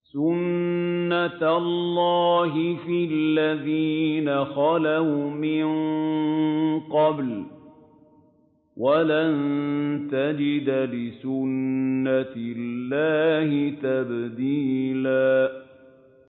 سُنَّةَ اللَّهِ فِي الَّذِينَ خَلَوْا مِن قَبْلُ ۖ وَلَن تَجِدَ لِسُنَّةِ اللَّهِ تَبْدِيلًا